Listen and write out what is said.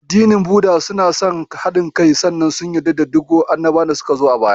Addinin Baha'i suna son haɗin kai sannan sun yarda da duk annabawan da suka zo a baya.